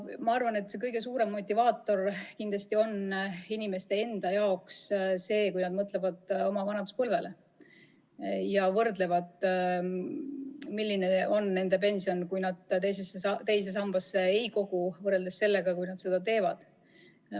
Ma arvan, et kõige suurem motivaator on inimeste jaoks kindlasti see, kui nad mõtlevad oma vanaduspõlvele ja võrdlevad, milline oleks nende pension siis, kui nad teise sambasse ei koguks, ja siis, kui nad seda teevad.